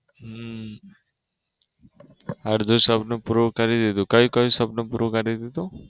હમ અડધું સપનું પૂરું કરી દીધું. ક્યુ ક્યુ સપનું પૂરું કરી દીધું?